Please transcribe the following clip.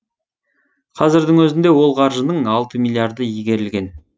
қазірдің өзінде ол қаржының алты миллиарды игерілген